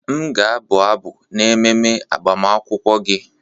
M ga-abụ abụ n'ememe agbamakwụkwọ gị.